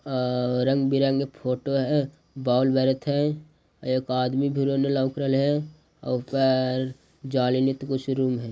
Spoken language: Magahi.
अ रंग-बिरंगे फोटो है बॉल बरेत है एक आदमी फिर उन्ने लौउक रहले है और ऊपर जाली नित कुछ रूम है।